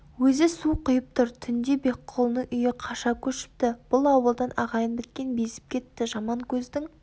өзі су құйып тұр түнде бекқұлының үйі қаша көшіпті бұл ауылдан ағайын біткен безіп кетті жаманкөздің